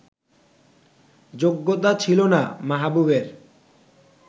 যোগ্যতা ছিল না মাহবুবের